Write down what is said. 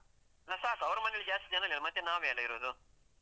ಹ, ಸಾಕು. ಅವರ ಮನೆಯಲ್ಲಿ ಜಾಸ್ತಿ ಜನ ಇಲ್ಲ. ಮತ್ತೆ ನಾವೇ ಅಲ್ಲ ಇರುದು?